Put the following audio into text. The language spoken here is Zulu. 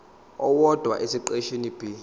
owodwa esiqeshini b